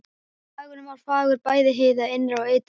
Dagurinn var fagur bæði hið innra og ytra.